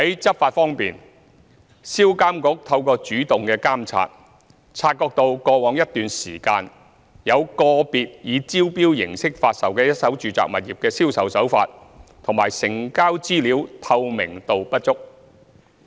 執法方面，一手住宅物業銷售監管局透過主動監察，察覺到過往一段時間有個別以招標形式發售的一手住宅物業的銷售手法及成交資料透明度不足。